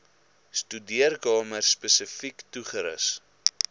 studeerkamer spesifiek toegerus